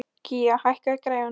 Gía, hækkaðu í græjunum.